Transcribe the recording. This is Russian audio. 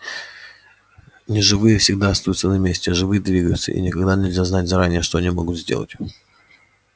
неживые всегда остаются на месте а живые двигаются и никогда нельзя знать заранее что они могут сделать